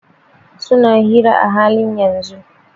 Suna hira a halin yanzun.